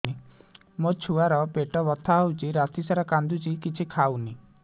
ମୋ ଛୁଆ ର ପେଟ ବଥା ହଉଚି ରାତିସାରା କାନ୍ଦୁଚି କିଛି ଖାଉନି